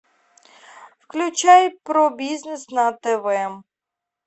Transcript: включай про бизнес на тв